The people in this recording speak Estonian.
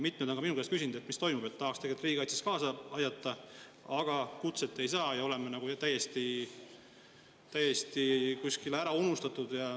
Mitmed on ka minu käest küsinud, mis toimub, nad tahaksid tegelikult riigikaitses kaasa aidata, aga kutset nad ei saa ja on nagu täiesti ära unustatud.